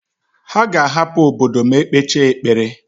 Ha ga-ahapụ obodo ma e kpechaa ekpere.